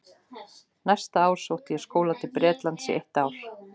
Næsta ár sótti ég skóla til Bretlands í eitt ár.